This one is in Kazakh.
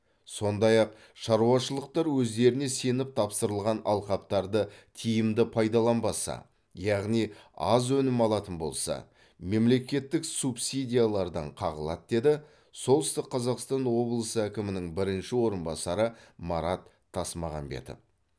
сондай ақ шаруашылықтар өздеріне сеніп тапсырылған алқаптарды тиімді пайдаланбаса яғни аз өнім алатын болса мемлекеттік субсидиялардан қағылады деді солтүстік қазақстан облысы әкімінің бірінші орынбасары марат тасмағанбетов